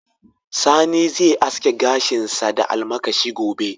Sani zai aske gashinsa da almakashi gobe.